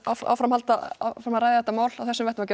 áfram halda að ræða þetta mál á þessum vettvangi